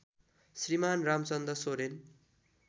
Shriman Ramchandra Soren